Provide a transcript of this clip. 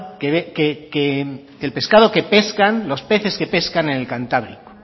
el pescado que pescan los peces que pescan en el cantábrico